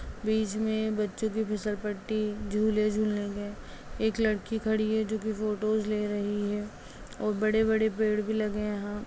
बीच में बच्चों की फिसल पट्टी झूले झूलने के एक लड़की खड़ी है जो की फ़ोटोज़ ले रही है। और बड़े-बड़े पेड़ भी लगे हैं यहाँ।